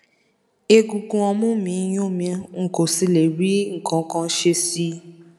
egungun ọmú mi ń yún mi n kò sì lè rí nǹkan ṣe sí i